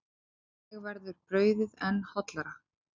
Þannig verður brauðið enn hollara.